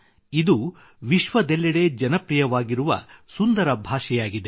ಇದು ವಿಶ್ವದೆಲ್ಲೆಡೆ ಜನಪ್ರಿಯವಾಗಿರುವ ಸುಂದರ ಭಾಷೆಯಾಗಿದೆ